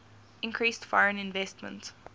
increased foreign investment